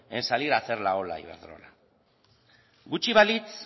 en salir a hacer la ola a iberdrola gutxi balitz